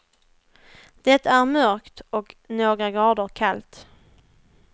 Det är mörkt och några grader kallt.